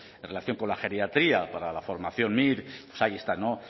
en relación con la geriatría para la formación mir pues ahí está